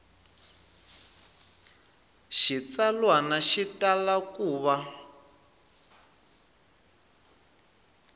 xitsalwana xi tala ku va